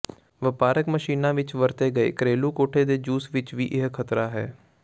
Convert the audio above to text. ਵਪਾਰਕ ਮਸ਼ੀਨਾਂ ਵਿੱਚ ਵਰਤੇ ਗਏ ਘਰੇਲੂ ਕੋਠੇ ਦੇ ਜੂਸ ਵਿੱਚ ਵੀ ਇਹ ਖ਼ਤਰਾ ਹੈ